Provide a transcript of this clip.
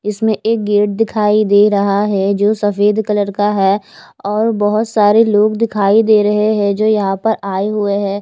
इसमें एक गेट दिखाई दे रहा है जो सफ़ेद कलर का है और बहुत सारे लोग दिखाई दे रहे है जो यहाँ पे आये हुए है।